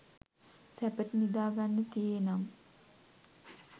සැපට නිදාගන්න තියේ නම්